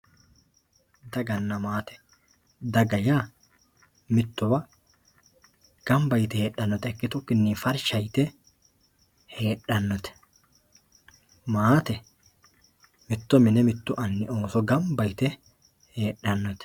daganna maate daga yaa mittowa ganba yite ikkitukkinni farsha yite heedhannote maate mittu anni mittu mini ooso ganba yite heedhannote